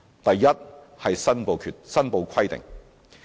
第一，申報規定。